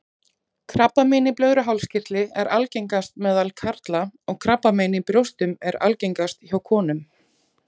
Krabbamein í blöðruhálskirtli er algengast meðal karla og krabbamein í brjóstum er algengast hjá konum.